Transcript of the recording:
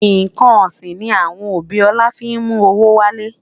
nkán osin ni awọn obi ola fi mú owó wale